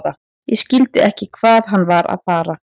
Ég skildi ekki hvað hann var að fara.